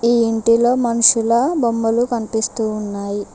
ఈ ఇంటిలో మన్షుల బొమ్మలు కనిపిస్తూ ఉన్నాయి.